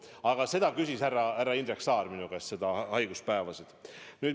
Aga seda küsis härra Indrek Saar minu käest – nende haiguspäevade kohta.